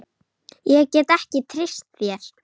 Ég get ekki treyst þér.